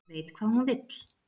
Veit hvað hún vill